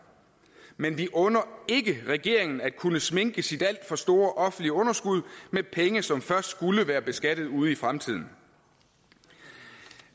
men vi under ikke regeringen at kunne sminke sit alt for store offentlige underskud med penge som først skulle være beskattet ude i fremtiden